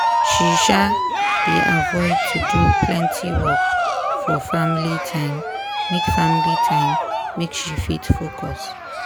she um dey avoid to do plenty work for family time make family time make she fit focus.